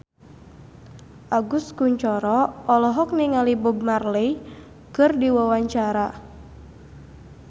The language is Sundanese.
Agus Kuncoro olohok ningali Bob Marley keur diwawancara